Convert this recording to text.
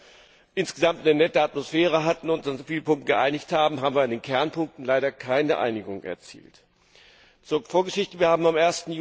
Obwohl wir insgesamt eine nette Atmosphäre hatten und uns in vielen Punkten geeinigt haben, haben wir in den Kernpunkten leider keine Einigung erzielt. Zur Vorgeschichte Wir haben am